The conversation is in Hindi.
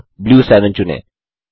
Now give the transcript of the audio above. अब ब्लू 7 चुनें